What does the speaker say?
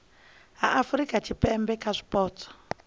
ha afurika tshipembe kha zwipotso